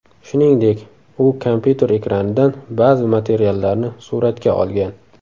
Shuningdek, u kompyuter ekranidan ba’zi materiallarni suratga olgan.